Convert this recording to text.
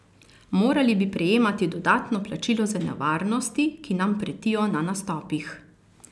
Morali bi prejemati dodatno plačilo za nevarnosti, ki nam pretijo na nastopih!